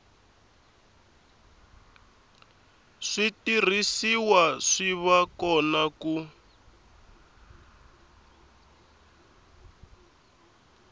switirhisiwa swi va kona ku